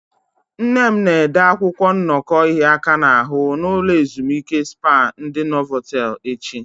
Nne m na-ede akwụkwọ nnọkọ ịhịa aka n'ahụ na ulo ezimuike spá ndi Novotelu echi.